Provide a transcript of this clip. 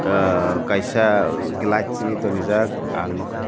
ah kaisa glass simi tongrijak ang nogka.